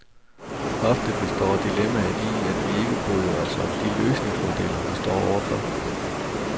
Ofte består dilemmaet i, at vi ikke bryder os om de løsningsmodeller, vi står overfor.